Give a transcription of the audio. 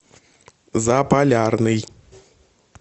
заполярный